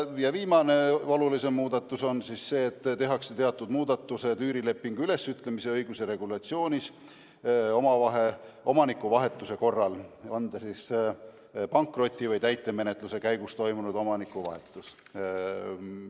Ja viimane olulisem muudatus on see, et tehakse teatud muudatused üürilepingu ülesütlemise õiguse regulatsioonis omanikuvahetuse korral – on see siis pankroti- või täitemenetluse käigus toimunud omanikuvahetus.